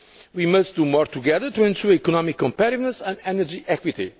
We must do more together to ensure economic competitiveness and energy equity.